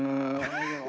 Just!